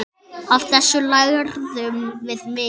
Af þessu lærðum við mikið.